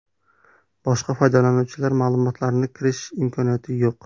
Boshqa foydalanuvchilar ma’lumotlarini ko‘rish imkoniyati yo‘q.